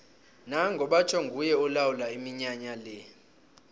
nango batjho nguye olawula iminyanya le